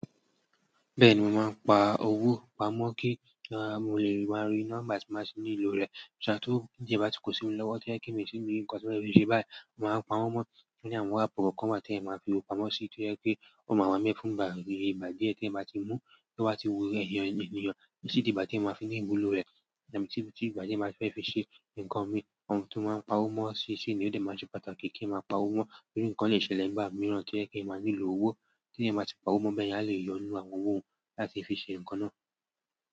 Bẹ́ẹ̀ni, mo máa ń pa owó pamọ́ kí kí jẹ́ máa lè máa rí na nígbà tí màá si ní lo rẹ̀, ṣùgbọ́n tó jẹ́ bá ti kó sí mi lọ́wọ́ tó jẹ́ pe kí èmi sì rí nǹkan tí màá ṣe báyìí, màá ń pa wọ́n mọ́ ní àwọn àpọ̀kọ́ kọ́ màá tí máa fi owó pamọ́ sí i tí ó jẹ́ pé ó máa wá n bẹ fùn ìgbà díẹ̀ tí ẹ bá ti mú kí wọ́n sì wùwẹ́ èèyàn ní ìyẹn, sì di ìgbà tí ẹ máa fi ní ìwúlò rẹ̀, tàbí tí ìgbà díẹ̀ máa fẹ́ fi ṣe nǹkan mi. Ohun tí wọ́n máa ń pa owó mọ́ sí i sì ni ó dẹ̀ máa ṣe pàtàkì kí ẹ máa pa owó mọ́ nítorí nǹkan le ṣẹlẹ̀ nígbà mìíràn tí o jẹ́ pe eeyan máa nílò owó tí èèyàn máa ti pa owó mọ́ bẹyẹn a le yọ nínú àwọn owó hun láti fi ṣe nǹkan náà.